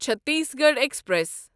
Chhattisgarh express